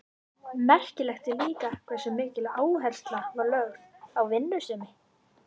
Merkilegt er líka hversu mikil áhersla var lögð á vinnusemi.